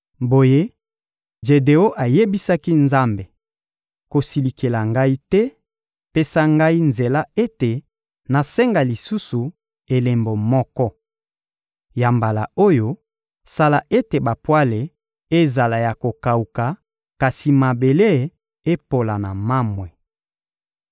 Boye, Jedeon ayebisaki Nzambe: «Kosilikela ngai te, pesa ngai nzela ete nasenga lisusu elembo moko. Ya mbala oyo, sala ete bapwale ezala ya kokawuka, kasi mabele epola na mamwe.»